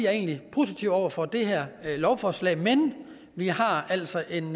er egentlig positive over for det her lovforslag men vi har altså en